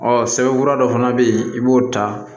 Ɔ sɛbɛnfura dɔ fana bɛ yen i b'o ta